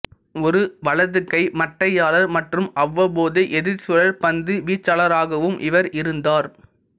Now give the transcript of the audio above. ஒரு வலது கை மட்டையாளர் மற்றும் அவ்வப்போது எதிர்ச் சுழல் பந்து வீச்சாளராகவும் இவர் இருந்தார்